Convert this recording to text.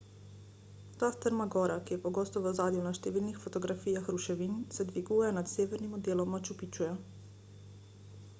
ta strma gora ki je pogosto v ozadju na številnih fotografijah ruševin se dviguje nad severnim delom machu picchuja